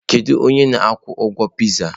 Kedu onye na-akwụ ụgwọ pịzaa?